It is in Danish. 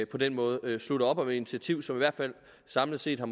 på den måde slutter op om et initiativ som i hvert fald samlet set har